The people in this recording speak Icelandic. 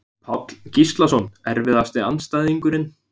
Páll Gíslason Erfiðasti andstæðingur?